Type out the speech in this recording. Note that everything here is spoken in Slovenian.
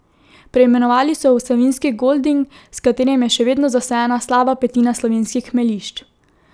Preimenovali so jo v savinjski golding, s katerim je še vedno zasajena slaba petina slovenskih hmeljišč.